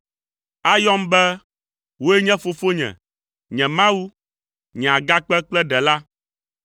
Ayɔm be, ‘Wòe nye Fofonye, nye Mawu, nye Agakpe kple Ɖela.’